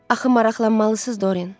Axı maraqlanmalısız, Dorien.